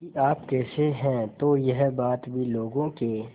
कि आप कैसे हैं तो यह बात भी लोगों के